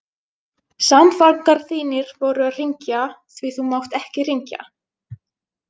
Samfangar þínir voru að hringja, því þú mátt ekki hringja.